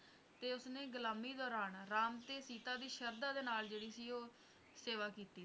ਤੇ ਉਸਨੇ ਗੁਲਾਮੀ ਦੌਰਾਮ ਰਾਮ ਤੇ ਸੀਤਾ ਦੀ ਸ਼ਰਧਾ ਦੇ ਨਾਲ ਜਿਹੜੀ ਸੀ ਉਹ ਸੇਵਾ ਕੀਤੀ ਸੀ